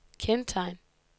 kendetegn